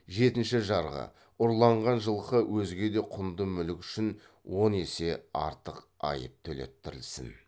жетінші жарғы ұрланған жылқы өзге де құнды мүлік үшін он есе артық айып төлеттірілсін